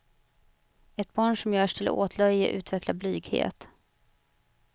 Ett barn som görs till åtlöje utvecklar blyghet.